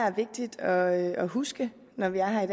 er vigtigt at at huske når vi er her